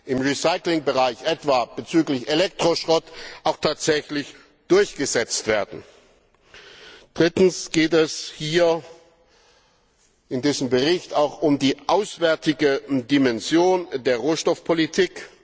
im Recyclingbereich etwa bezüglich Elektroschrott, auch tatsächlich durchgesetzt werden. Drittens geht es in diesem Bericht auch um die auswärtige Dimension der Rohstoffpolitik.